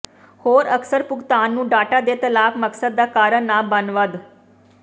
ਹੋਰ ਅਕਸਰ ਭੁਗਤਾਨ ਨੂੰ ਡਾਟਾ ਦੇ ਤਲਾਕ ਮਕਸਦ ਦਾ ਕਾਰਨ ਨਾ ਬਣ ਵੱਧ